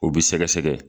O bi sɛgɛsɛgɛ